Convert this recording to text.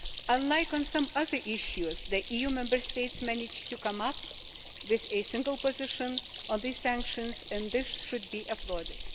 Unlike on some other issues, the EU Member States managed to come up with a single position on these sanctions and this should be applauded.